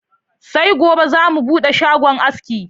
Sai gobe za mu buɗe shagon aski